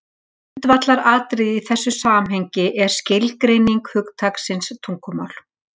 Grundvallaratriði í þessu samhengi er skilgreining hugtaksins tungumál.